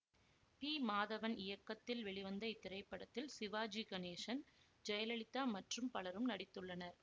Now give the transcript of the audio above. B Madhavan இயக்கத்தில் வெளிவந்த இத்திரைப்படத்தில் சிவாஜி கணேசன் ஜெயலலிதா மற்றும் பலரும் நடித்துள்ளனர்